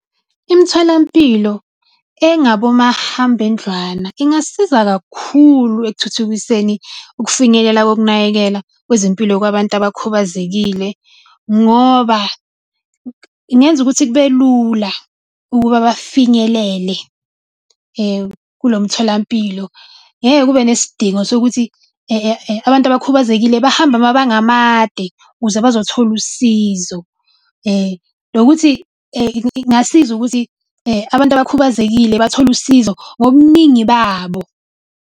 Imitholampilo ingasiza kakhulu ekuthuthukiseni ukufinyelela kokunakekela kwezempilo kwabantu abakhubazekile, ngoba ingenza ukuthi kube lula ukuba bafinyelele kulo mtholampilo. Ngeke kube nesidingo sokuthi abantu abakhubazekile bahambe amabanga amade ukuze bazothola usizo. Nokuthi ingasiza ukuthi abantu abakhubazekile bathole usizo ngobuningi babo.